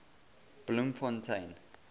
bloemfontein